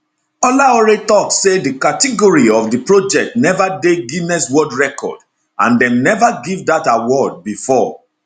olaore tok say di category of di project neva dey guiness world record and dem neva give dat award bifor